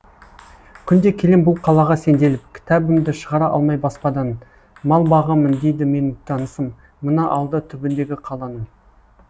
күнде келем бұл қалаға сенделіп кітабымды шығара алмай баспадан мал бағамын дейді менің танысым мына ауылда түбіндегі қаланың